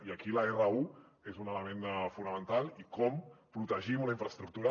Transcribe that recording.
i aquí l’r1 és un element fonamental i com protegim una infraestructura